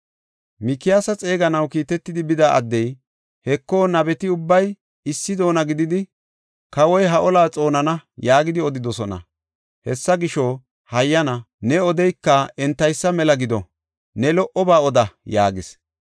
Mikiyaasa xeeganaw kiitetidi bida addey, “Heko, nabeti ubbay issi doona gididi, ‘Kawoy ha olaa xoonana’ yaagidi odidosona. Hessa gisho, hayyana ne odayka entaysa mela gido; ne lo77oba oda” yaagis.